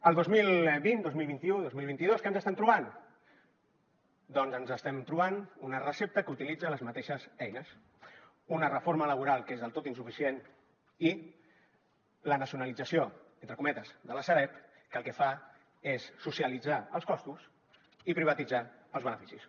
el dos mil vint el dos mil vint u el dos mil vint dos què ens estem trobant doncs ens estem trobant una recepta que utilitza les mateixes eines una reforma laboral que és del tot insuficient i la nacionalització entre cometes de la sareb que el que fa és socialitzar els costos i privatitzar els beneficis